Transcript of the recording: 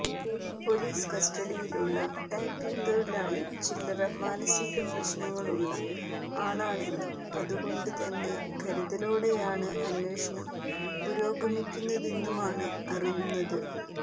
police കസ്റ്റഡിയിലുള്ള tapping തൊഴിലാളി ചില്ലറ മാനസീക പ്രശ്നങ്ങളുള്ള ആളാണെന്നും അതുകൊണ്ട് തന്നെ കരുതലോടെയാണ് അന്വേഷണം പുരോഗമിക്കുന്നതെന്നുമാണ് അറിയുന്നത്